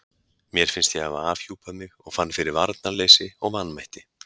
Mér fannst ég hafa afhjúpað mig og fann fyrir varnarleysi og vanmætti.